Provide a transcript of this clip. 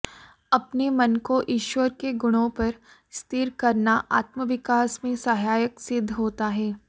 अपने मन को ईश्वर के गुणों पर स्थिर करना आत्मविकास में सहायक सिध्द होता है